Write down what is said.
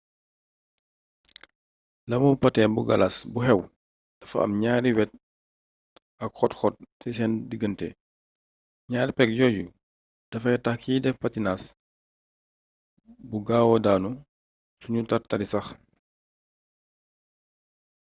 lamu patin bu galas bu xew dafa am ñaari wet ak xóot xóot ci seen diggante ñaari pegg yooyu dafay tax kiy def patinas bu gaawaa daanu suñuy tar-tari sax